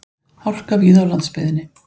Hálka víða á landsbyggðinni